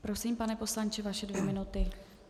Prosím, pane poslanče, vaše dvě minuty.